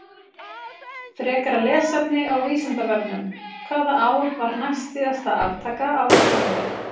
Frekara lesefni á Vísindavefnum: Hvaða ár var næstsíðasta aftaka á Íslandi?